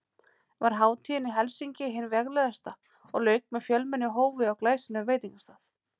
Var hátíðin í Helsinki hin veglegasta og lauk með fjölmennu hófi á glæsilegum veitingastað.